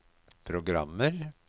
programmer